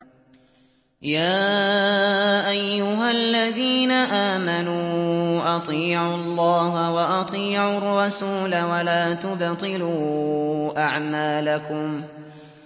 ۞ يَا أَيُّهَا الَّذِينَ آمَنُوا أَطِيعُوا اللَّهَ وَأَطِيعُوا الرَّسُولَ وَلَا تُبْطِلُوا أَعْمَالَكُمْ